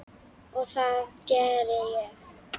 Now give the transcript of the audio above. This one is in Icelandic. Og það geri ég.